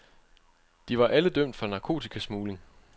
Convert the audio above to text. De var alle dømt for narkotikasmugling.